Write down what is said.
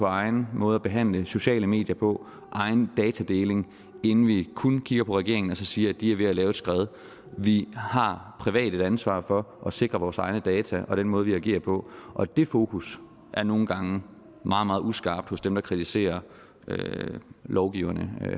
egen måde at behandle sociale medier på egen datadeling inden vi kun kigger på regeringen og så siger at de er ved at lave et skred vi har privat et ansvar for at sikre vores egne data og den måde vi agerer på og det fokus er nogle gange meget meget uskarpt hos dem der kritiserer lovgiverne